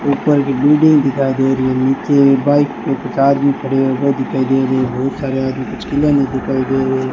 ऊपर की बिल्डिंग दिखाई दे रही है नीचे एक बाइक खड़ी है वो दिखाई दे रही है बहुत सारे आदमी दे रहे--